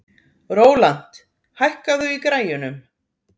Rólant, hækkaðu í græjunum.